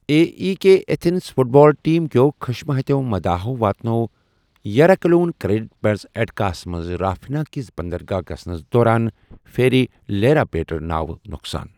A E K Athens football team كیو خشمہٕ ہتیو مداحو واتنوو یٖراکلیٛون، کرٛیٹ پیٚٹھٕ ایٚٹِکاہس منٛز رافِنا کِس بندرگاہ گَژھنس دوران فیٚری 'لیراپیٚٹرٛا' ناوِ نۄقصان ۔